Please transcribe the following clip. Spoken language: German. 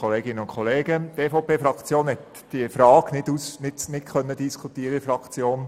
Die EVP-Fraktion hat diese Frage nicht diskutieren können.